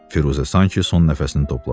Firuzə sanki son nəfəsini topladı.